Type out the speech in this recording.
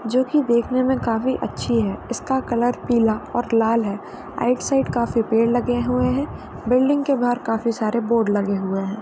जोकि देखने में काफी अच्छी है। इसका कलर पीला और लाल है। राइट साइड काफी पेड़ लगे हुए हैं। बिल्डिंग के बाहर काफी सारे बोर्ड लगे हुए हैं।